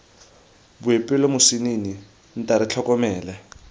boipelo moswinini nta re tlhokomele